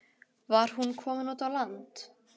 Var hún komin út á land?